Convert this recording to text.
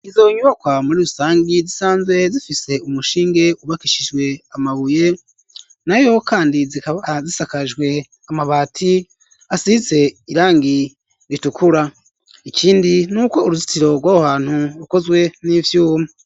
Izo nyubakwa muri rusangi zisanzwe zifise umushinge wubakishijwe amabuye nayo kandi zikaba zisakajwe amabati asihize irangi ritukura ikindi nuko uruzitiro rwaho hantu rukozwe n'ivyuma.